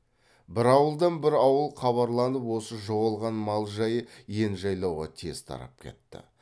бір ауылдан бір ауыл хабарланып осы жоғалған мал жайы ен жайлауға тез тарап кетті